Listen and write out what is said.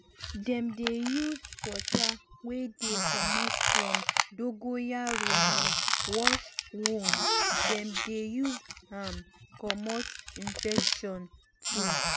dem dey use um water wey dey comot from dongoyaro leaf wash wound um dem dey use am comot infection too.